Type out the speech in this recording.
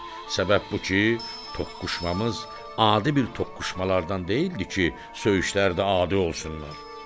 Səbəb bu ki, toqquşmamız adi bir toqquşmalardan deyildi ki, söyüşlərdə adi olsunlar.